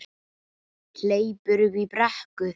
Hleypur upp brekku.